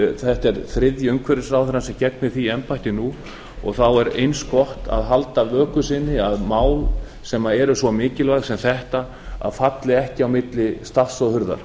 þetta er þriðji umhverfisráðherrann sem gegnir því embætti nú og þá er eins gott að halda vöku sinni að mál sem eru svo mikilvæg sem þetta falli ekki á milli stafs og hurðar